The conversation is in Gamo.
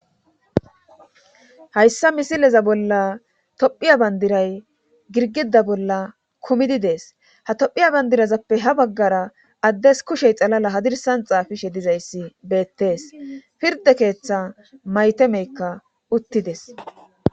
hayssa misileza bolla tophiya bandiray girgida bolla kumidi dees ha tophiya bandirazappe ha baggara addes kushey xalala hadirsan xaafishe dizayssi beettees pirde keeththa maytemeykka uttides